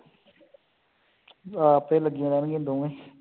ਆਪੇ ਲੱਗੀਆਂ ਰਹਿਣਗੀਆਂ ਦੋਨੇ